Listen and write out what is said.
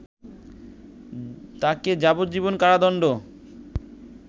তাকে যাবজ্জীবন কারাদণ্ড